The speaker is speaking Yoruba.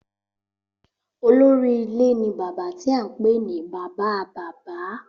Olórí ilé ní bàbá tí a ń pè ní bàbáa-bàbá